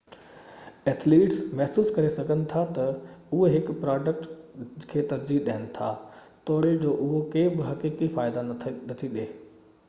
athletes محسوس ڪري سگھن ٿا ته اهي هڪ پراڊڪٽ کي ترجيح ڏين ٿا توڙي جو اهو ڪي به حقيقي فائدا نٿي ڏئي